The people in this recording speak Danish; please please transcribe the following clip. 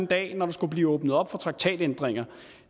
dag når der skulle blive åbnet op for traktatændringer